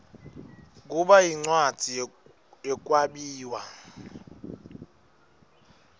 kuba yincwadzi yekwabiwa